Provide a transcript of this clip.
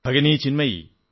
Bhagini Chinmayi